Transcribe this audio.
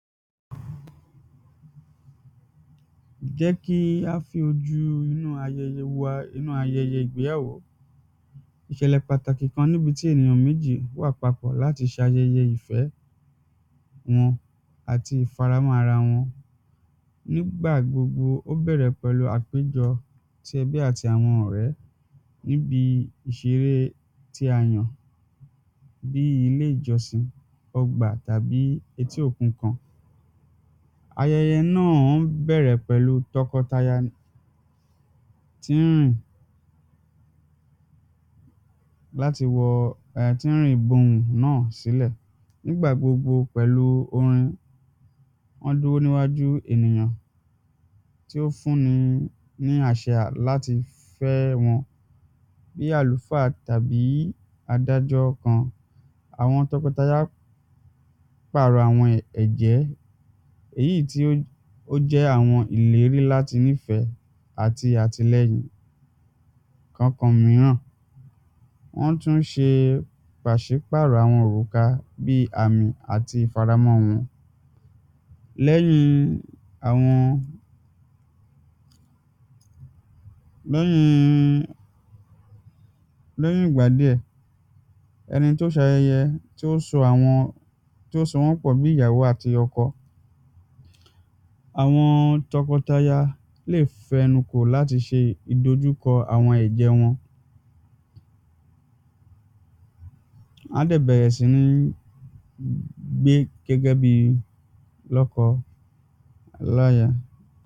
jẹ́ kí a fi ojú inú ayẹyẹ wo ayẹ inú ayẹyẹ ìgbéyàwó ìṣẹ̀lẹ̀ pàtàkì kan níbi tí ènìyàn méjì wà papọ̀ láti ṣayẹyẹ ìfẹ́ wọn àti ìfaramọ́ ara wọn. nígbà gbogbo ó bẹ́rẹ̀ pẹ̀lú àpéjọ tí ẹbí àti àwọn ọ̀rẹ́ níbi ìṣeré tí a yàn bíi iléjọsìn, ọgbà tàbí etí òkun kan ayẹyẹ bẹ̀rẹ̀ pẹ̀lú tọkọtaya tí láti wọ àti tín rìn gbohùn náà sílẹ̀ nígbà gbogbo pẹ̀lú orin, wọ́n dúrò níwájú ènìyàn tí ó fún ni ní àṣẹ láti fẹ́ wọn bí àlùfáà tàbí adájọ́ kan, àwọn tọkọtaya pàrọ̀ àwọn ẹ̀jẹ́ èyí tí ó ó jẹ́ àwọn ìlérí láti nífẹ̀ẹ́ àti àtilẹyìn kànkan míràn. wọ́n tún ṣe pàṣípàrọ̀ àwọn òrùka bíi àmì àti ìfaramọ́ wọn lẹ́yìn àwọn, lẹ́yìn lẹ́yìn ìgbà díẹ̀, ẹni tó ṣayẹyẹ, tí ó so àwọn tí ó sowọ́n pọ̀ bí ìyàwó àti ọkọ àwọn tọkọtaya lè fẹnu kò láti ṣe ìdojúkọ àwọn ẹ̀jẹ́ wọn wán dẹ̀ bẹ̀rẹ̀ sí ní gbé gẹ́gẹ́bíi lọ́kọláya